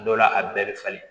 Dɔ la a bɛɛ bɛ falen